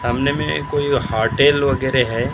सामने में कोई होटेल वगैरह है ।